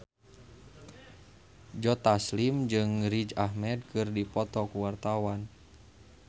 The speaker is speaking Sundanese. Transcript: Joe Taslim jeung Riz Ahmed keur dipoto ku wartawan